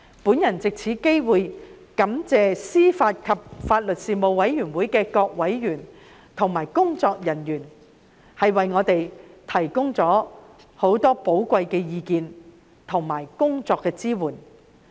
我藉此機會感謝事務委員會各委員和秘書處人員提供很多寶貴的意見及支援。